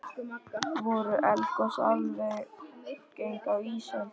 Voru eldgos algeng á ísöld?